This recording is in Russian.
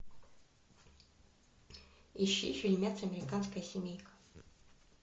ищи фильмец американская семейка